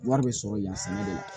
Wari bɛ sɔrɔ yan sɛnɛ de la